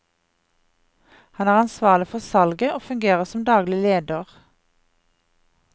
Han er ansvarlig for salget og fungerer som daglig leder.